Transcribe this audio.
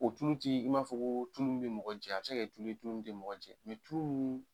O tulu t'i i m'a fɔ ko tulu min bɛ mɔgɔ jɛ, a bɛ se ka tulu ye tulu min tɛ mɔgɔ jɛ mɛ tulu min